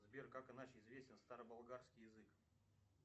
сбер как иначе известен староболгарский язык